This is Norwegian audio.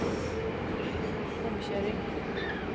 omkjøring